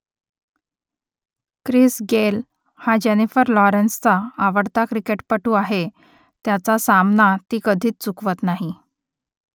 Chris Gayle हा Jennifer लॉरेन्सचा आवडता क्रिकेटपटू आहे त्याचा सामना ती कधीच चुकवत नाही